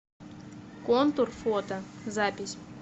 контур фото запись